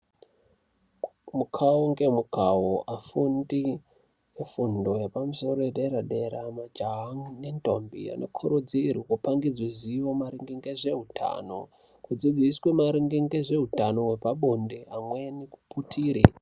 Mukawu nemukawo afundi efundo yepadera dera majaha nendombi anokurudzirwa kupangidzwa zivo maringe ngezvehutano kudzidziswa maringe nezvehutano hwepabonde amweni kuputire.